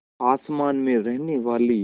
आसमान में रहने वाली